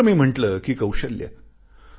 दुसरे मी म्हटले कि कौशल्य